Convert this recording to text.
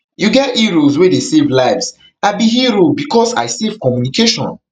you get heroes wey dey save lives i be hero becos i save communication